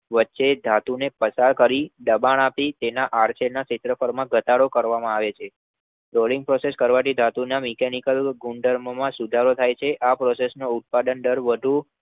વચ્ચેથી ધાતુને પસાર કરી, દબાણ આપી, તેના આડછેદના ક્ષેત્રફળમાં ઘટાડો કરવામાં આવે છે. Rolling process કરવાથી ધાતુના Mechanical ગુણધર્મોમાં સુધારો થાય છે. આ process process નો ઉત્પાદન-દર વધુ